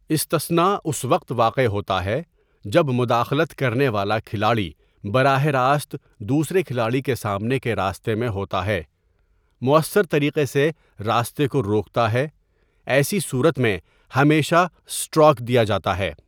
استثناء اس وقت واقع ہوتا ہے جب مداخلت کرنے والا کھلاڑی براہ راست دوسرے کھلاڑی کے سامنے کے راستے میں ہوتا ہے، مؤثر طریقے سے راستے کو روکتا ہے، ایسی صورت میں ہمیشہ اسٹروک دیا جاتا ہے۔